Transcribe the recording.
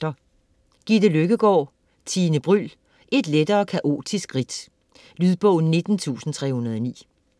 Løkkegaard, Gitte: Tine Bryld: et lettere kaotisk ridt Lydbog 19309